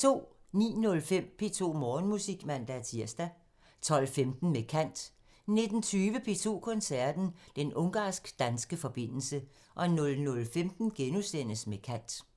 09:05: P2 Morgenmusik (man-tir) 12:15: Med kant 19:20: P2 Koncerten – Den ungarsk-danske forbindelse 00:15: Med kant *